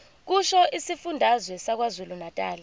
kusho isifundazwe sakwazulunatali